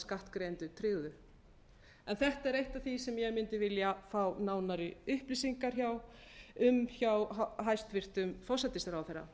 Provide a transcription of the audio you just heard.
skattgreiðendur tryggðu þetta er eitt af því sem ég mundi vilja fá nánari upplýsingar um hjá hæstvirtum forsætisráðherra